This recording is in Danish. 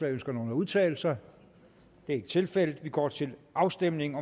ønsker nogen at udtale sig det er ikke tilfældet vi går til afstemning